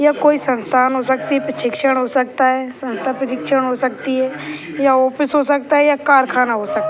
ये कोई संस्थान हो सकती हैं प्रशिक्षण हो सकता है संस्था प्रशिक्षण हो सकती हैं या ऑफिस हो सकता है या कारखाना हो सकता।